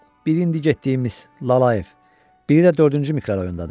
Biri indi getdiyimiz Lalayev, biri də dördüncü mikrorayondadır.